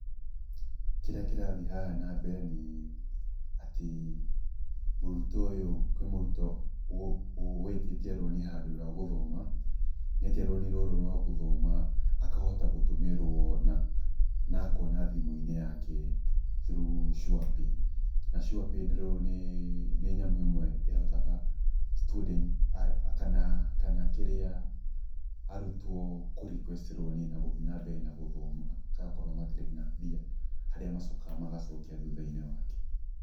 Kĩrĩa kĩrathiĩ haha na mbere nĩ atĩ mũrutwo ũyũ, kwĩ mũrutwo wĩtĩtie roni handũ rwa gũthoma, na etia roni rũrũ rwa gũthoma, akahota gũtũmĩrwo na akona thimũ-inĩ yake through Surepay, na Surepay nĩ nyamũ ĩmwe ĩhotaga student kana kĩrĩa arutwo kũ request roni na gũthiĩ na mbere na gũthoma kana okorwo matirĩ na mbia harĩa macokaga magacokia thutha-inĩ wake.